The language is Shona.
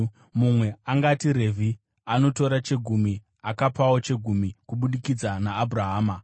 Mumwe angati Revhi, anotora chegumi, akapawo chegumi kubudikidza naAbhurahama,